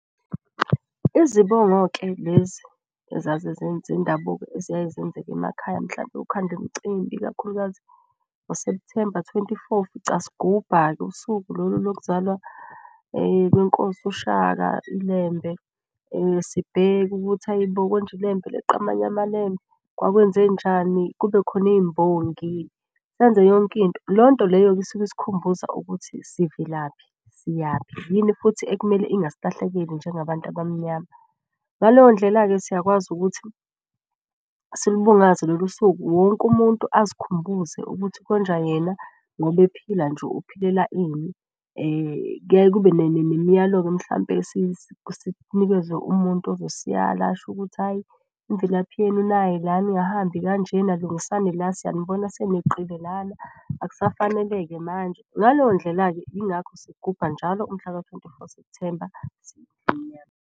Izibongo-ke lezi eziyaye zenzeke emakhaya mhlampe kukhandwe imcimbi. Ikakhulukazi ngo-September twenty four, ufica sigubha-ke usuku lolu lokuzalwa kwenkosi uShaka iLembe. Sibheke ukuthi ayi bo, konje iLembe eleqa amanye amaLembe kwakwenzenjani? Kube khona iy'mbongi senze yonki into. Leyo nto leyo isuke isikhumbuza ukuthi sivelaphi siyaphi, yini futhi ekumele ingasilahlekeli njengabantu abamnyama. Ngaleyo ndlela-ke siyakwazi ukuthi silubungaze lolu suku. Wonke umuntu azikhumbuze ukuthi konja yena ngoba ephila nje uphelela ini . Kuyaye kube nemiyalo-ke mhlampe sinikezwe umuntu ozosiyala asho ukuthi, hayi imvelaphi yenu nayi lana ningahambi kanjena, lungisani lana. Siyanibona seneqile lana akusafanele-ke manje. Ngaleyo ndlela-ke ingakho sigubha njalo umhlaka twenty four September siyindlu emnyama.